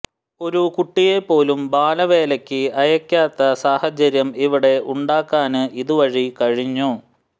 ഒരു കുട്ടിയെപോലും ബാലവേലയ്ക്ക് അയയ്ക്കാത്ത സാഹചര്യം ഇവിടെ ഉണ്ടാക്കാന് ഇതുവഴി കഴിഞ്ഞു